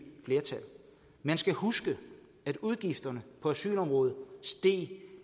flertal man skal huske at udgifterne på asylområdet steg